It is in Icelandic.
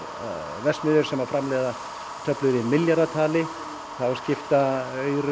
verksmiðjur sem framleiða töflur í milljarðatali þá skipta